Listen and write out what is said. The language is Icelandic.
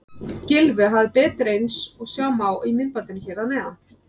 Gylfi hafði betur eins og sjá má í myndbandinu hér að neðan.